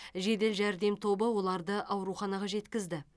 жедел жәрдем тобы оларды ауруханаға жеткізді